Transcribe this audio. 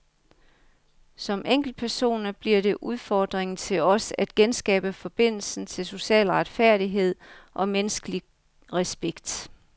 Som enkeltpersoner bliver det udfordringen til os at genskabe forbindelsen til social retfærdighed og menneskelig respekt.